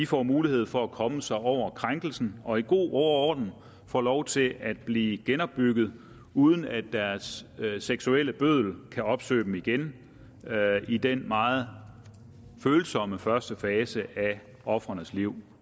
får mulighed for at komme sig over krænkelsen og i god ro og orden får lov til at blive genopbygget uden at deres seksuelle bøddel kan opsøge dem igen i den meget følsomme første fase af ofrenes liv